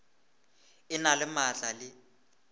e na le maatla le